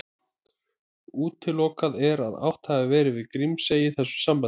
Útilokað er að átt hafi verið við Grímsey í þessu sambandi.